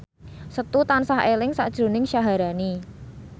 Setu tansah eling sakjroning Syaharani